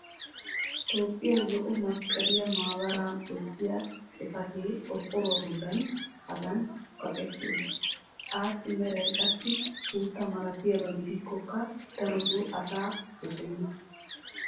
toophiyaa zo'o masqqaliya maabaraa bessiya xifatee qorqqoruwa bolan hagan kaqetti uttiis. assi meray qassi suuttaa malattiyaba gidikkokka darotoo asay dosenna.